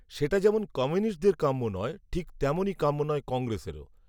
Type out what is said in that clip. সেটা যেমন কমিউনিস্টদের কাম্য নয়, ঠিক তেমনই কাম্য নয় কংগ্রেসেরও